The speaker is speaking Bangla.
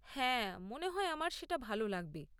হ্যাঁ, মনে হয় আমার সেটা ভাল লাগবে।